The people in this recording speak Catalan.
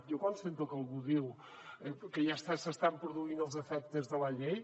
jo quan sento que algú diu que ja s’estan produint els efectes de la llei